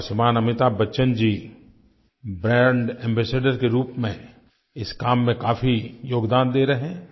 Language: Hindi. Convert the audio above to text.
और श्रीमान अमिताभ बच्चन जी ब्रांड एम्बासाडोर के रूप में इस काम में काफ़ी योगदान दे रहे हैं